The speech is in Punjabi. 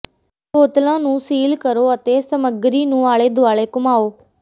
ਬੋਤਲਾਂ ਨੂੰ ਸੀਲ ਕਰੋ ਅਤੇ ਸਮਗਰੀ ਨੂੰ ਆਲੇ ਦੁਆਲੇ ਘੁੰਮਾਓ